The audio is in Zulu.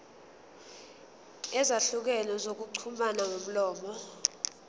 ezahlukene zokuxhumana ngomlomo